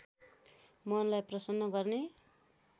मनलाई प्रसन्न गर्ने